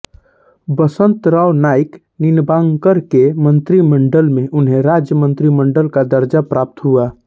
वसंतराव नाईक निंबाळकर के मंत्रिमंडल में उन्हें राज्य मंत्रीमंडल का दर्जा प्राप्त हुआ